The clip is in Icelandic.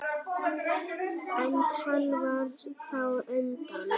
En hann fór þá undan.